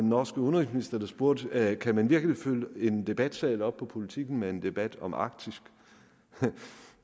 norske udenrigsminister der spurgte kan man virkelig fylde en debatsal op på politiken med en debat om arktis